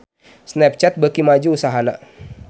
Snapchat beuki maju usahana